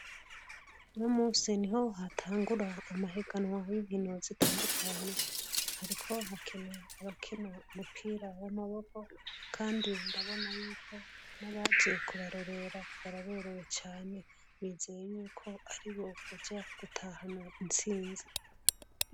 Uno munsi niho hatangura amahiganwa y'inkino zitandukanye, hariko hakina abakina umupira w'amaboko, kandi ndabona yuko n'abaje kubarorera baraberewe cane bizeye yuko aribo baza gutahana intsinzi.